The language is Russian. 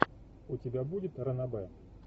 у тебя будет ранобэ